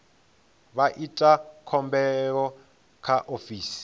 vha ite khumbelo kha ofisi